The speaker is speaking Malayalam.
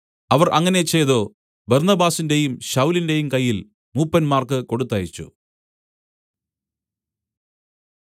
അവർ അങ്ങനെ ചെയ്തു ബർന്നബാസിന്റെയും ശൌലിന്റെയും കയ്യിൽ മൂപ്പന്മാർക്ക് കൊടുത്തയച്ചു